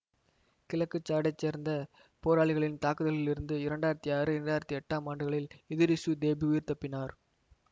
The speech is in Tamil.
கிழக்கு சாடைச் சேர்ந்த போராளிகளின் தாக்குதல்களில் இருந்து இரண்டு ஆயிரத்தி ஆறு இரண்டு ஆயிரத்தி எட்டு ஆம் ஆண்டுகளில் இதிரிசு தேபி உயிர் தப்பியிருந்தார்